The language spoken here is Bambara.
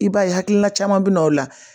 I b'a ye hakilina caman bɛ na o la